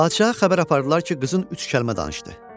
Padşaha xəbər apardılar ki, qızın üç kəlmə danışdı.